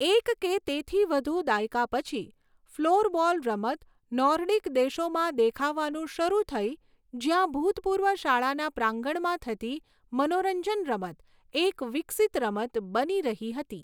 એક કે તેથી વધુ દાયકા પછી, ફ્લોરબોલ રમત નોર્ડિક દેશોમાં દેખાવાનું શરૂ થઈ જ્યાં ભૂતપૂર્વ શાળાના પ્રાંગણમાં થતી મનોરંજન રમત એક વિકસિત રમત બની રહી હતી.